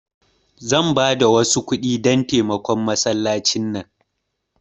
Zan bada wasu kudi dan taimakon masallaci nan.